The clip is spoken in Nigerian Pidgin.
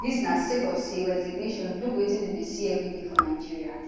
dis na sake of say resignation no be wetin dem dey see evriday for nigeria